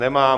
Nemá.